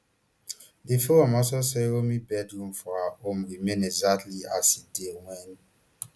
di forum also say romi bedroom for her home remain exactly as e dey wen